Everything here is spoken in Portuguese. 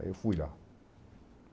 Aí eu fui lá.